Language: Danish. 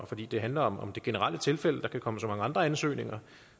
fordi det handler om om det generelle tilfælde der kan komme så mange andre ansøgninger